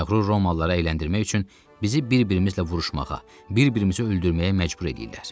Məğrur Romalılara əyləndirmək üçün bizi bir-birimizlə vuruşmağa, bir-birimizi öldürməyə məcbur eləyirlər.